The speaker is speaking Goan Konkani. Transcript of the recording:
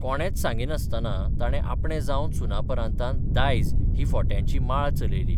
कोणेच सांगिनासतना ताणे आपणे जावन सुनापरान्तांत 'दायज 'ही फोट्यांची माळ चलयली.